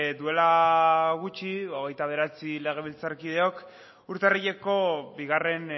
duela gutxi hogeita bederatzi legebiltzarkideok urtarrileko bigarren